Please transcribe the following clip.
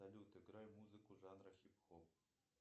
салют играй музыку жанра хип хоп